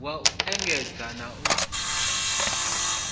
wa u endedza na u